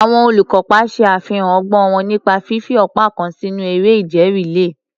Àwọn olùkópa ṣe àfihàn ọgbọ́n wọn nípa fífi ọ̀pá kan sínú eré ìje rìléè.